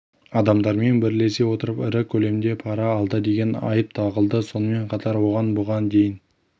адамдармен бірлесе отырып ірі көлемде пара алды деген айып тағылды сонымен қатар оған бұған дейін